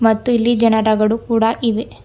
ಮತ್ತು ಇಲ್ಲಿ ಜನರಗಳು ಕೂಡ ಇವೆ.